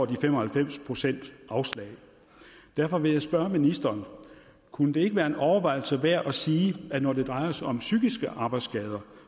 de fem og halvfems procent får afslag derfor vil jeg spørge ministeren kunne det ikke være en overvejelse værd at sige at når det drejer sig om psykiske arbejdsskader